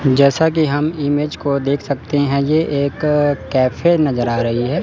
जैसा कि हम इमेज को देख सकते हैं ये एक कैफे नजर आ रही है।